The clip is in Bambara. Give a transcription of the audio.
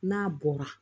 N'a bɔra